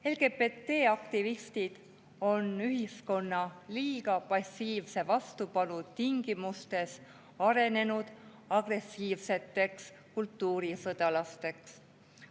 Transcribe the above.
LGBT-aktivistid on ühiskonna liiga passiivse vastupanu tingimustes arenenud agressiivseteks kultuurisõdalasteks.